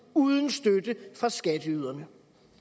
uden støtte fra skatteyderne